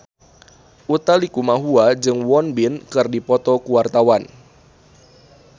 Utha Likumahua jeung Won Bin keur dipoto ku wartawan